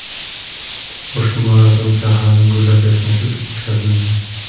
Ushbu marosim shaharning gullab-yashnashi uchun o‘tkazildi.